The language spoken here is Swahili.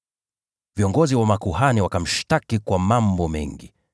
Viongozi wa makuhani wakamshtaki kwa mambo mengi.